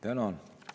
Tänan!